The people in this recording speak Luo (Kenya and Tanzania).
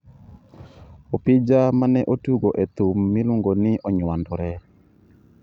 Opija ma ne otugo e thum miluongo ni Onywandore.